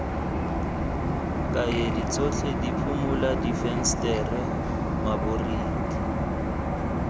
kaedi tsotlhe diphimola difensetere maboriki